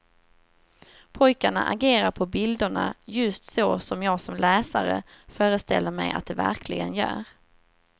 Pojkarna agerar på bilderna just så som jag som läsare föreställer mig att de verkligen gör.